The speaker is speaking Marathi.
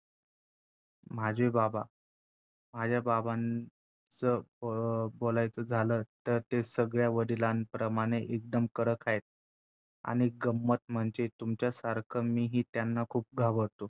माझे बाबा माझ्या बाबां च अं बोलायचे झालच तर ते सगळ्या वडिलांप्रमाणे एकदम कडक हायेत. आणि गंमत म्हणजे तुमच्यासारख मी हि त्यांना खूप घाबरतो